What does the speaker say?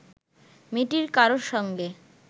মেয়েটির কারো সঙ্গে